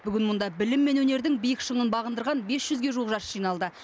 бүгін мұнда білім мен өнердің биік шыңын бағындарған бес жүзге жуық жас жиналды